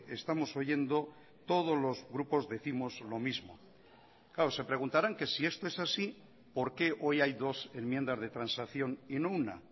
estamos oyendo todos los grupos décimos lo mismo claro se preguntarán que si esto es así por qué hoy hay dos enmiendas de transacción y no una